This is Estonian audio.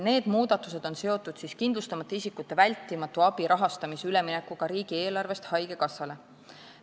Need muudatused on seotud kindlustamata isikute vältimatu abi rahastamise üleminekuga riigieelarvest haigekassale.